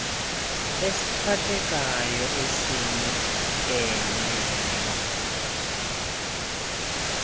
esiphathekayo esinikileyo ithathe